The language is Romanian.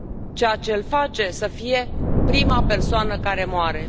Ceea ce l face să fie prima persoană care moare.